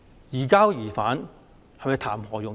移交疑犯談何容易？